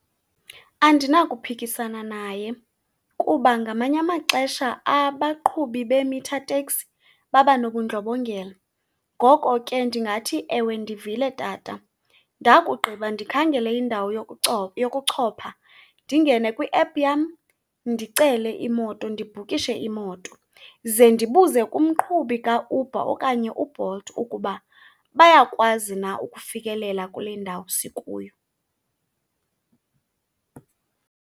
Andinakuphikisana naye kuba ngamanye amaxesha abaqhubi be-meter taxi baba nobundlobongela. Ngoko ke, ndingathi, ewe, ndivile tata ndakugqiba ndikhangele indawo yokuchopha, ndingene kwiephu yam ndicele imoto, ndibhukishe imoto, ze ndibuze kumqhubi kaUber okanye uBolt ukuba bayakwazi na ukufikelela kule ndawo sikuyo.